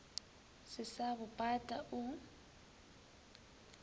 se sa bo pata o